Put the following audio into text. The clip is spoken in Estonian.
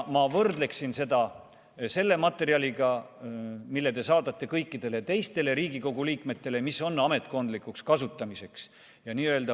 Ma võrdleksin seda selle materjaliga, mille te saadate kõikidele teistele Riigikogu liikmetele ja mis on ametkondlikuks kasutamiseks.